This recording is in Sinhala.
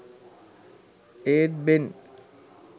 ඒත් බෙන්